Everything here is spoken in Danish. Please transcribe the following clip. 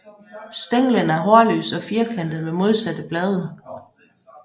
Stænglen er hårløs og firkantet med modsatte blade